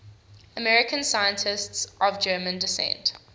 american scientists of german descent